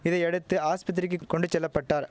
இதையடுத்து ஆஸ்பத்திரிக்கி கொண்டு செல்ல பட்டார்